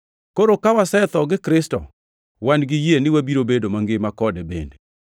Koro ka wasetho gi Kristo, wan gi yie ni wabiro bedo mangima kode bende.